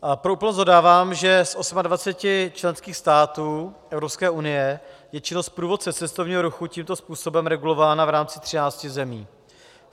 Pro úplnost dodávám, že z 28 členských států EU je činnost průvodce cestovního ruchu tímto způsobem regulována v rámci 13 zemí.